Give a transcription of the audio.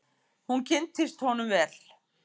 Hún kynntist honum vel.